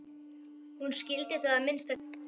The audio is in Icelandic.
Hún skildi það að minnsta kosti þannig.